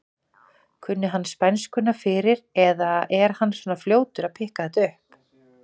Kunni hann spænskuna fyrir eða er hann svona fljótur að pikka þetta upp?